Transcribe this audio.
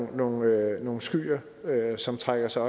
nogle nogle skyer som trækker sig